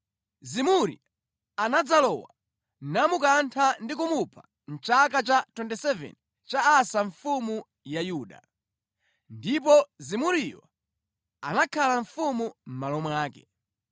Zimuri anadzalowa, namukantha ndi kumupha mʼchaka cha 27 cha Asa mfumu ya Yuda. Ndipo Zimuriyo anakhala mfumu mʼmalo mwake.